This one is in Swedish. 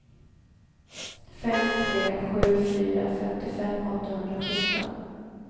fem tre sju fyra femtiofem åttahundrasjutton